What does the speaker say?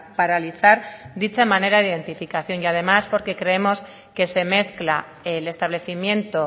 paralizar dicha manera de identificación y además porque creemos que se mezcla el establecimiento